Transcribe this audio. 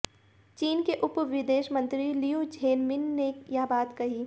चीन के उप विदेश मंत्री लियू झेनमिन ने यह बात कही